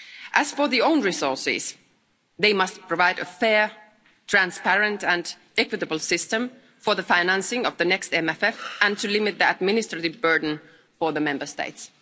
As for own resources, they must provide a fair, transparent and equitable system for the financing of the next MFF and to limit the administrative burden for the Member States.